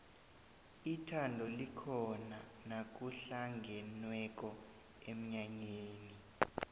ithabo likhona nakuhlangenweko emnyanyeni